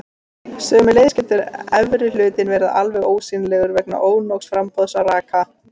Sömuleiðis getur efri hlutinn verið alveg ósýnilegur vegna ónógs framboðs á raka.